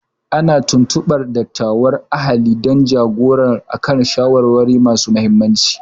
Ana tuntubar dattawan ahali don ja-gora a kan shawarwari masu muhimmanci.